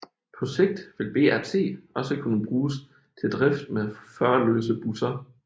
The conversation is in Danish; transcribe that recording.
På sigt vil BRT også kunne bruges til drift med førerløse busser